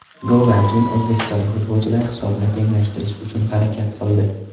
Goldan keyin o‘zbekistonlik futbolchilar hisobni tenglashtirish uchun harakat qildi.